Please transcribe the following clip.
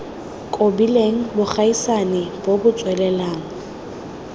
kobileng bogaisani bo bo tswelelang